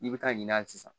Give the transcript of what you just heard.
I bɛ taa ɲin'a ye sisan